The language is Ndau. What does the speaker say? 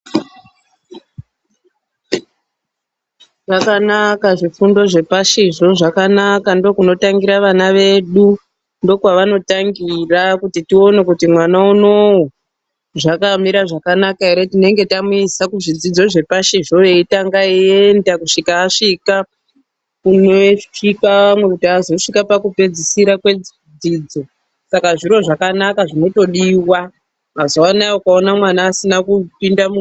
Zvakanaka zvifundo zvepashizvo, zvakanaka. Ndookunotangira vana vedu, ndokwavanotangira. Kuti tione kuti mwana unowu zvakamira zvakanaka ere, tinenge tamuisa kuzvidzidzo zvepashi zvo, eitanga eienda kusvika asvika kunosvika amwe, kuti azosvika pakupedzisira kwedzidzo. Saka zviro zvakanaka zvinotodiwa. Mazuwanaya ukaona mwana asina kupinda mu....